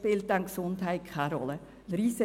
Dort spielt dann die Gesundheit keine Rolle mehr.